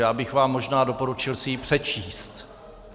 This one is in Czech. Já bych vám možná doporučil si ji přečíst.